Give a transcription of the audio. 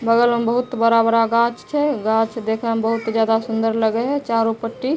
बगल में बहुत बड़ा-बड़ा गाछ छै गाछ देखे में बहुत ज्यादा सुन्दर लगय हेय चारो पट्टी --